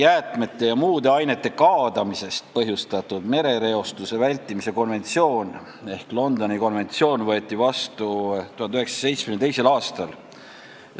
Jäätmete ja muude ainete kaadamisest põhjustatud merereostuse vältimise konventsioon ehk Londoni konventsioon võeti vastu 1972. aastal.